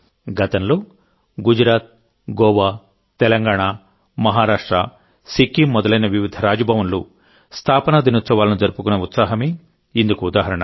గతంలో గుజరాత్ గోవా తెలంగాణ మహారాష్ట్ర సిక్కిం మొదలైన వివిధ రాజ్భవన్లు తమ స్థాపన దినోత్సవాలను జరుపుకున్న ఉత్సాహమే ఇందుకు ఉదాహరణ